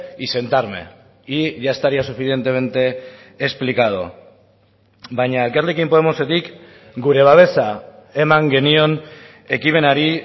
y sentarme y ya estaría suficientemente explicado baina elkarrekin podemosetik gure babesa eman genion ekimenari